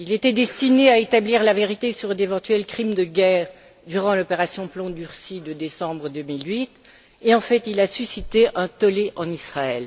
Il était destiné à établir la vérité sur d'éventuels crimes de guerre durant l'opération plomb durci de décembre 2008 et en fait il a suscité un tollé en Israël.